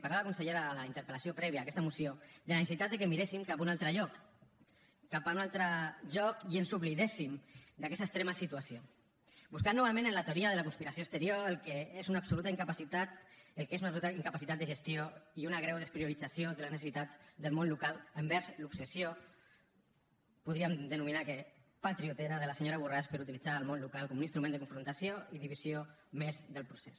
parlava la consellera a la interpel·lació prèvia a aquesta moció de la necessitat que miréssim cap a un altre lloc cap a un altre lloc i ens oblidéssim d’aquesta extrema situació buscant novament en la teoria de la conspiració exterior el que és una absoluta incapacitat el que és una absoluta incapacitat de gestió i una greu despriorització de les necessitats del món local envers l’obsessió podríem denominar que patriotera de la senyora borràs per utilitzar el món local com un instrument de confrontació i divisió més del procés